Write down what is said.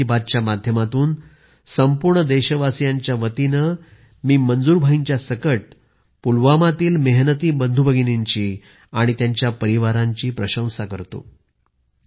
आज मन की बात च्या माध्यमातून संपूर्ण देशवासीयांच्या वतीने मी मंजूर भाईंच्यासकट पुलवामातील मेहनती बंधूभगिनींची आणि त्यांच्या परिवारांची प्रशंसा करतो